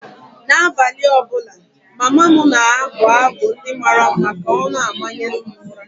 N’abalị ọ bụla, mama m na-abụ abụ ndị mara mma ka ọ na-amanye m ụra.